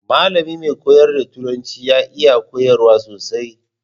Mallami mai koyar da turanci ya iya koyarwa sosai.